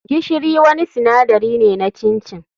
Gishiri wani sinadari ne na chin chin.